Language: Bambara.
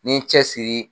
N ye n cɛsiri